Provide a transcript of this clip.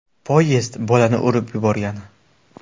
Poyezd bolani urib yuborgan.